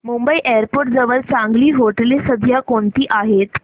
Mumbai airport जवळ चांगली हॉटेलं सध्या कोणती आहेत